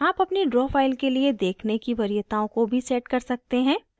आप अपनी draw file के लिए देखने की वरीयताओं को भी set कर सकते हैं